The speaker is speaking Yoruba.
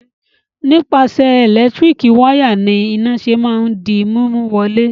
Nípasẹ̀ ẹ̀lẹ́tíríkì wayà ni iná ṣe máa ń di mímú wọ ilé.